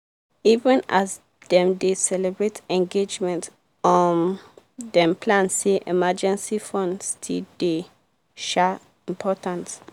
even as dem dey celebrate engagement um dem plan say emergency fund still dey um important.